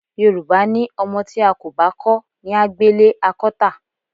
Yorùbá ní o̩mo̩ tí a kò bá kó̩ ní á gbélé a kó̩ tà.